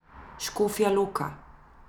Škofja Loka.